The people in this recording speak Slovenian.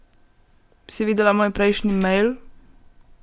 Si videla moj prejšnji mejl?